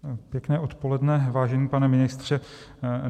Pěkné odpoledne, vážený pane ministře.